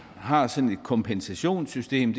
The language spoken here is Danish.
har sådan et kompensationssystem